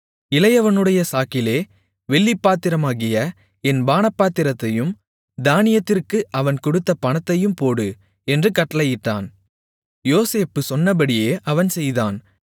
இளையவனுடைய சாக்கிலே வெள்ளிப் பாத்திரமாகிய என் பானபாத்திரத்தையும் தானியத்திற்கு அவன் கொடுத்த பணத்தையும் போடு என்று கட்டளையிட்டான் யோசேப்பு சொன்னபடியே அவன் செய்தான்